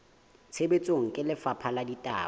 tshebetsong ke lefapha la ditaba